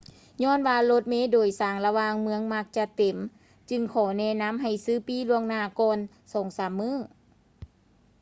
ຍ້ອນວ່າລົດເມໂດຍສານລະຫວ່າງເມືອງມັກຈະເຕັມ ຈຶ່ງຂໍແນະນຳໃຫ້ ຊື້ປີ້ລ່ວງໜ້າກ່ອນສອງສາມມື້